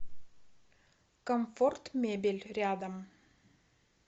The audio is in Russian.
комфорт мебель рядом